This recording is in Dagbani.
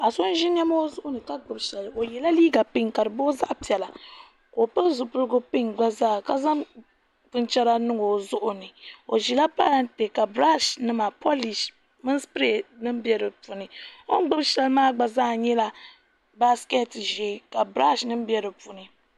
Paɣa so n zi nɛma o zuɣu ni ka gbubi shɛli o yiɛla liiga pinki ka di boogi zaɣi piɛla ka o pili zipiligu pinki gba zaa ka zaŋ binichɛra niŋ o zuɣu ni o zila parantɛ ka brashi nima pɔlishi o ni gbubi shɛli maa gba yɛla basiketi zɛɛ mini sipraay bɛ di puuni ka brashi nim bɛ di puuni.